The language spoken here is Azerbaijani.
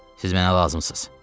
Siz mənə lazımsınız.